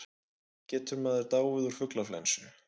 Getur maður dáið úr fuglaflensu?